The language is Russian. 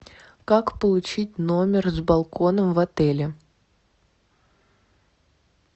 как получить номер с балконом в отеле